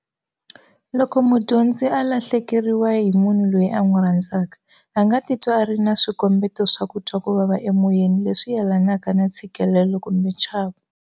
Loko mudyondzi a lahleke riwa hi munhu loyi a n'wi rhandzaka, a nga titwa a ri na swikombeto swo twa ku vava emoyeni leswi yelanaka na ntshikelelo kumbe nchavo.